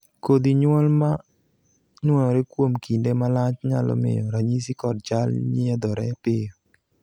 kodhi nyuol ma nuoyore kuom kinde malach nyalo miyo ranyisi kod chal nyiedhore piyo